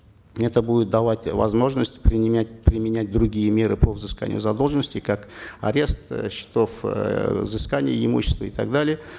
это будет давать возможность применять применять другие меры по взысканию задолженности как арест счетов эээ взыскание имущества и так далее